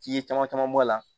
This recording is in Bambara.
F'i ye caman caman bɔ a la